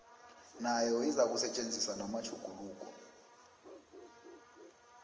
nayo izakusetjenziswa namatjhuguluko